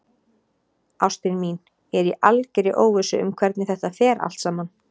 Ástin mín, ég er í algerri óvissu um hvernig þetta fer allt saman.